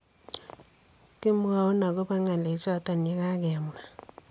Kimwoun agobo ngalechoton yegakemwa.